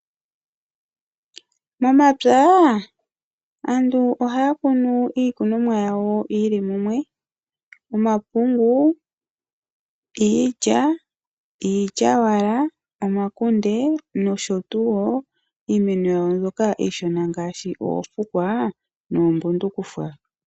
Momapya aantu ohaya kunu iikunomwa yawo yili mumwe , omapungu, iilya, iilyaalyaaka, omakunde niimeno mbyoka iishona ngaashi oofukwa noombundufukwa.